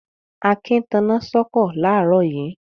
Akin taná sọ́kọ̀ láàárọ̀ yìí.